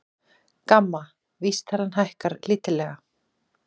GAMMA vísitalan hækkar lítillega